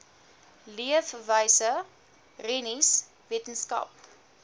leefwyse rennies wetenskap